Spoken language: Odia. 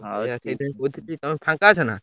ହଁ ଆଉ ସେଇଥିପାଇଁ କହୁଥିଲି ତମେ ଫାଙ୍କା ଅଛନା?